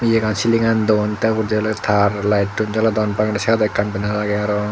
degan cillingan double tabor loi tar lighttun jolodon bangede sideondi banner age aro.